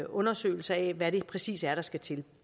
undersøgelser af hvad det præcis er der skal til